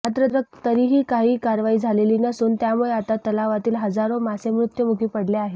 मात्र तरीही काहीही कारवाई झालेली नसून त्यामुळे आता तलावातील हजारो मासे मृत्युमुखी पडले आहेत